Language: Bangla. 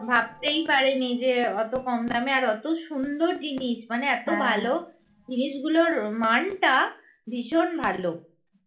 ভাবতেই পারেনি যে অত কম দামে আর অত সুন্দর জিনিস মানে এত ভালো জিনিস গুলোর মানটা ভীষন ভালো